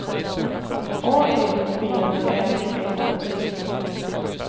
A N V Ä N D